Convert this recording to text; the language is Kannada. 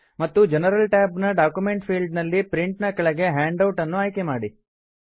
ಮತ್ತು ಜನರಲ್ ಟ್ಯಾಬ್ ನ ಡಾಕ್ಯುಮೆಂಟ್ ಫೀಲ್ಡ್ ನಲ್ಲಿ ಪ್ರಿಂಟ್ ನ ಕೆಳಗೆ ಹ್ಯಾಂಡ್ ಔಟ್ ನ್ನು ಆಯ್ಕೆ ಮಾಡಿ